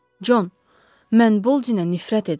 Con, mən Boldinə nifrət edirəm.